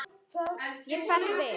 Ég fell við.